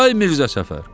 Ay Mirzə Səfər!